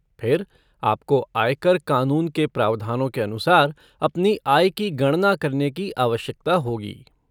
फिर आपको आयकर कानून के प्रावधानों के अनुसार अपनी आय की गणना करने की आवश्यकता होगी।